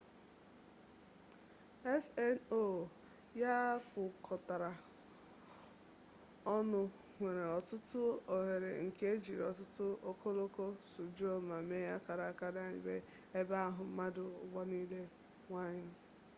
sno ya kpụkọtara ọnụ nwere ọtụtụ oghere nke e jiri ọtụtụ ọkọlọtọ sụjuo ma mee akara ọ bụ naanị ụgbọndọkpụ pụrụiche sledị e ji ebu ihe nwere ike ịgafe na ya n'iji mmanụ ụgbọala na ngwaahịa